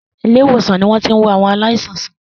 Ilé-ìwòsàn ni wọ́n ti ń wo àwọn aláìsàn sàn.